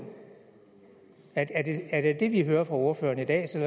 er det det vi hører fra ordføreren i dag selv